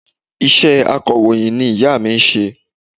Iṣẹ́ akọ̀ròyìn ni ìya mi n se